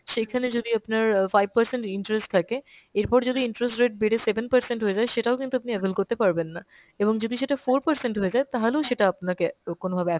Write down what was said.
সেইখানে যদি আপনার অ্যাঁ five percent interest থাকে, এরপর যদি interest rate বেড়ে seven percent হয়ে যায় সেটাও কিন্তু আপনি avail করতে পারবেন না। এবং যদি সেটা four percent হয়ে যায় তাহালেও সেটা আপনাকে কোনোভাবে